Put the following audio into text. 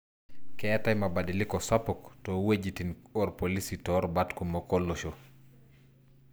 Keetai mabadiliko sapuk toowuejitin orpolisi torubat kumok olosho.